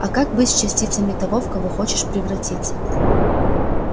а как быть с частицами того в кого хочешь превратиться